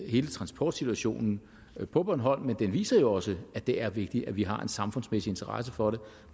hele transportsituationen på bornholm men den viser jo også at det er vigtigt at vi har en samfundsmæssig interesse for